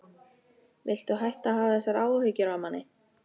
Viltu hætta að hafa þessar áhyggjur af manni!